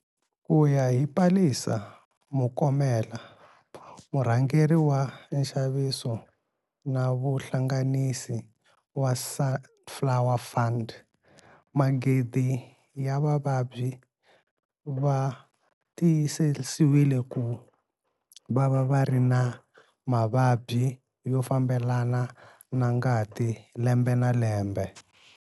Ku ya hi Palesa Mokomele, murhangeri wa nxaviso na vuhlanganisi wa Sunflower Fund, magidi ya vavabyi va tiyisisiwile ku va va ri na mavabyi yo fambelana na ngati lembe na lembe.